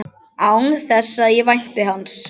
Án þess að ég vænti hans.